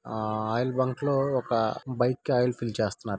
ఆ oil bunk లో ఒక బైక్ ఆయిల్ ఫిల్ చేస్తున్నారు.